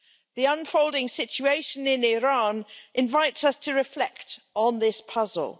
The unfolding situation in Iran invites us to reflect on this puzzle.